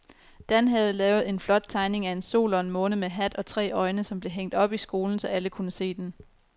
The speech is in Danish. Dan havde lavet en flot tegning af en sol og en måne med hat og tre øjne, som blev hængt op i skolen, så alle kunne se den.